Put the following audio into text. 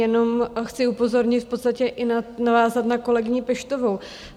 Jenom chci upozornit, v podstatě i navázat na kolegyni Peštovou.